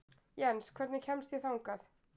Jens, hvernig kemst ég þangað?